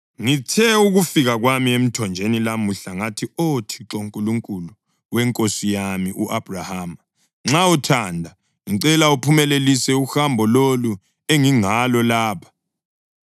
Ngithe ukufika kwami emthonjeni lamuhla ngathi, ‘Oh Thixo, Nkulunkulu wenkosi yami u-Abhrahama, nxa uthanda, ngicela uphumelelise uhambo lolu engingalo lapha.